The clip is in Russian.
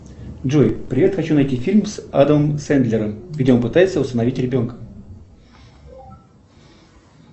джой привет хочу найти фильм с адамом сэндлером где он пытается усыновить ребенка